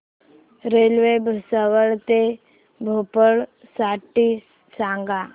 railway Bhusawal ते भोपाळ साठी सांगा